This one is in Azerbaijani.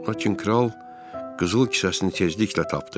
Lakin kral qızıl kisəsini tezliklə tapdı.